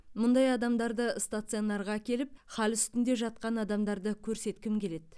мұндай адамдарды стационарға әкеліп хал үстінде жатқан адамдарды көрсеткім келеді